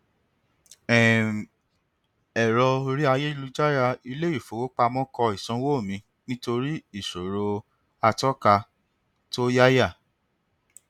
um ẹrọ orí ayélujára iléifowopamọ kọ ìsanwó mi nítorí ìṣòro àtọka tó yáyà